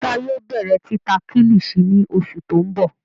Musa yóò bẹrẹ tita Kilichi ni oṣu ti n bọ